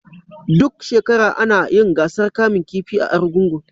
Duk shekara ana yin gasar kamun kifi a Arugungun.